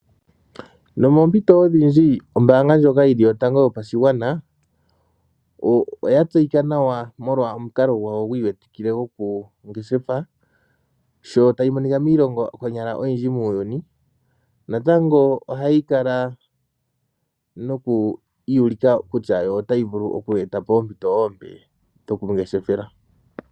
Nomompito odhindji, ombaanga ndjoka yili yotango yopashigwana, oyatseyika nawa molwa omukalo gwayo gwiiwetikile gwokungeshefa. Sho tayimonika miilongo konyala oyiindji muuyini, natango ohayikala noku iiyulika kutya yo otaivulu oku etapo ompito oompe dhokungeshefela.